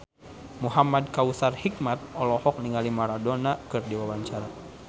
Muhamad Kautsar Hikmat olohok ningali Maradona keur diwawancara